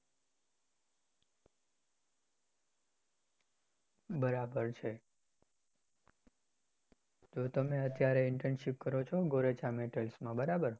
બરાબર છે. તો તમે અત્યારે Internship કરો છો gorecha metal માં બરાબર